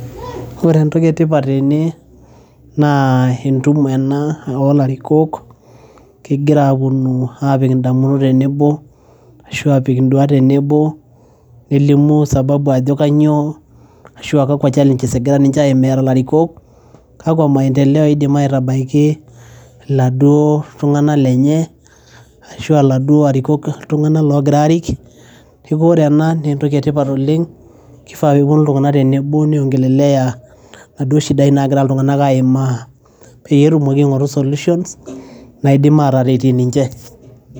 ore entoki etipat tene naa entumo ena olarikok kigira aponu apik indamunot tenebo ashu apik induat tenebo nelimu sababu ajo kanyio ashua kakwa challenges egira ninche aimaa era ilarikok kakwa maendeleo idim aitabaiki iladuo tung'anak lenye ashua iladuo arikok tung'anak logira arik peeku ore ena naa entoki etipat oleng[cs[ kifaa peponu iltung'anak tene niongelelea naduo shidai nagira iltung'anak aimaa peyie etumoki aing'oru solutions naidim ateretie ninche.